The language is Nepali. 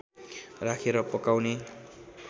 राखेर पकाउने